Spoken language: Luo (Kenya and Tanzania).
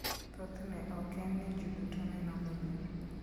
Thothne, ok en ni ji duto neno maber.